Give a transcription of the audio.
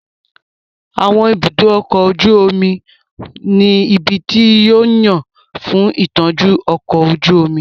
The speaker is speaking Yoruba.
Àwọn ibùdó ọkọ̀ ojú omi ní ibi tí wón yàn fún ìtọ́jú ọkọ̀ ojú omi